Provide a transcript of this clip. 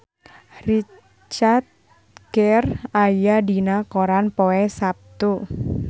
Richard Gere aya dina koran poe Saptu